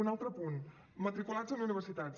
un altre punt matriculats en universitats